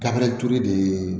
Kaberejuru de ye